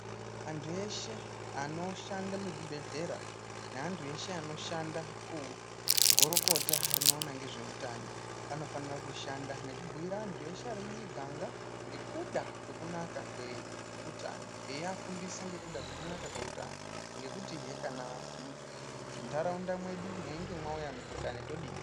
Antu eshe anoshande muzvibhehlera neantu eshe anoshanda kugurukota rinoona ngezveutano vanofanira kushanda nekubhuira antu eshe ari mumiganga ngekuda kwekunaka kweutano eiafundisa ngekuda kwekunaka kweutano ngekutihe kana muntaraunda mwedu mweinge mwauya mukhuhlani todini.